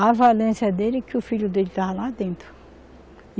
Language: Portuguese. A valência dele é que o filho dele estava lá dentro.